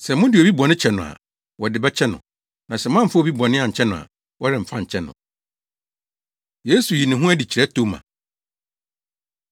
Sɛ mode obi bɔne kyɛ no a, wɔde bɛkyɛ no; na sɛ moamfa obi bɔne ankyɛ no a, wɔremfa nkyɛ no.” Yesu Yi Ne Ho Adi Kyerɛ Toma